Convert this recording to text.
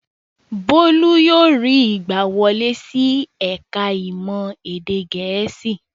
Bólú yóò rí ìgbàwọlé sí ẹ̀ka-ìmọ̀ èdè Gẹ̀ẹ́sì.